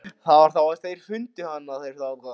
Það var þá sem þeir fundu hann, eða var það áður.